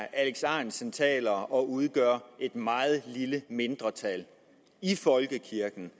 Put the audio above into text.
alex ahrendtsen taler for udgør et meget lille mindretal i folkekirken